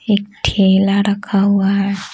एक ठेला रखा हुआ है।